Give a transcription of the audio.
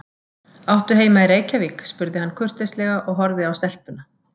Áttu heima í Reykjavík? spurði hann kurteislega og horfði á stelpuna.